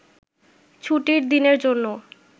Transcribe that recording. ছুটির দিনের জন্যও